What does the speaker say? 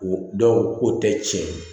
O dɔw ko tɛ tiɲɛ ye